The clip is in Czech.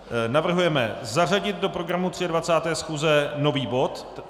Navrhujeme zařadit do programu 23. schůze nový bod.